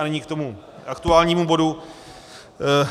A nyní k tomu aktuálnímu bodu.